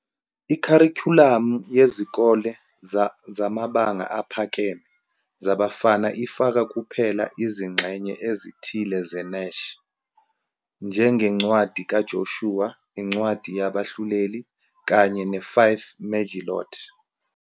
Ikharikhulamu yezikole zamabanga aphakeme zabafana ifaka kuphela izingxenye ezithile zeNach, njengencwadi kaJoshua, incwadi yabaHluleli, kanye ne-Five Megillot.